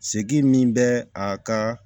Seki min bɛ a ka